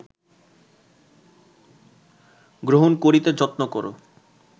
গ্রহণ করিতে যত্ন কর